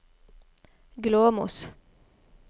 Glåmos